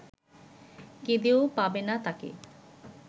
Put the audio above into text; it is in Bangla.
কেঁদেও পাবে না তাকে